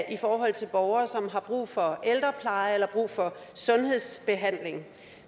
i forhold til borgere som har brug for ældrepleje eller brug for sundhedsbehandling